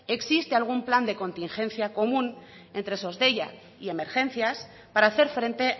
existen algún plan de contingencia común entre sos deiak y emergencias para hacer frente